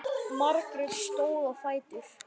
Margrét stóð á fætur.